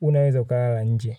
unaweza ukalala nje.